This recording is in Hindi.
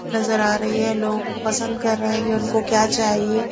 नजर आ रही है लोग पसंद कर रहे है ये उनको क्या चाहिए।